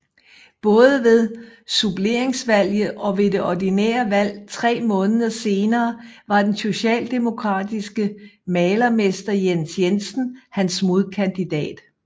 Både ved suppleringsvalget og ved det ordinære valg tre måneder senere var den socialdemokratiske malermester Jens Jensen hans modkandidat